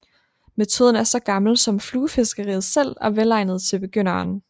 Metoden er så gammel som fluefiskeriet selv og velegnet til begynderen